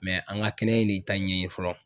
an ka kɛnɛ de ta ɲɛɲini fɔlɔ.